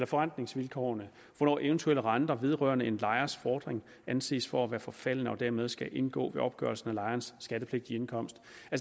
forrentningsvilkårene hvornår eventuelle renter vedrørende en lejers fordring anses for at være forfalden og dermed skal indgå ved opgørelse af lejerens skattepligtige indkomst